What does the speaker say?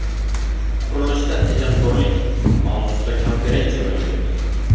Qurilishda tejamkorlik” mavzusida konferensiya bo‘lib o‘tdi.